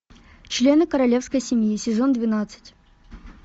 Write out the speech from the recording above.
члены королевской семьи сезон двенадцать